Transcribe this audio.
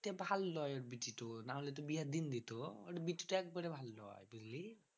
দেখতে ভালো লয় বিটিতো নাহলে তো বিয়া দিল দিতো। ওর বিটিটা একবারে ভালো লয়, বুঝলি?